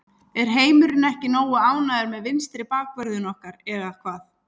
Er heimurinn ekki nógu ánægður með vinstri bakvörðinn okkar eða hvað?